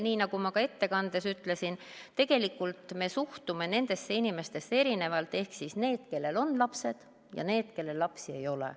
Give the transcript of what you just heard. Nii nagu ma ettekandes ütlesin, tegelikult me suhtume nendesse inimestesse erinevalt ehk siis nendesse, kellel on lapsed, ja nendesse, kellel lapsi ei ole.